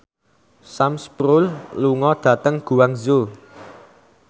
Sam Spruell lunga dhateng Guangzhou